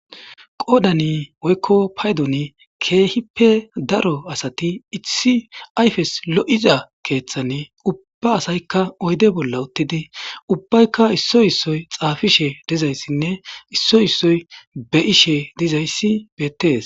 qoodani woykko paydoni keehippe daro asati itsi ayfes lo7iza keeththan ubba asaykka oyde bolla uttidi ubbaykka issoy issoy xaafishe dizayssinne isso issoy be7ishe dizayssi beettees